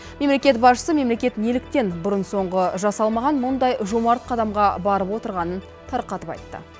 мемлекет басшысы мемлекет неліктен бұрын соңғы жасалмаған мұндай жомарт қадамға барып отырғанын тарқатып айтты